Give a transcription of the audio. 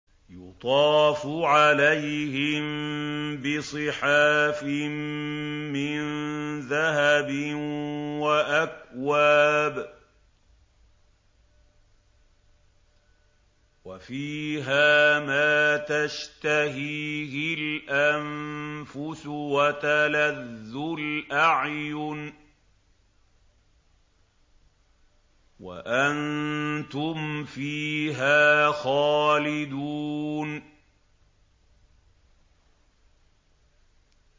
يُطَافُ عَلَيْهِم بِصِحَافٍ مِّن ذَهَبٍ وَأَكْوَابٍ ۖ وَفِيهَا مَا تَشْتَهِيهِ الْأَنفُسُ وَتَلَذُّ الْأَعْيُنُ ۖ وَأَنتُمْ فِيهَا خَالِدُونَ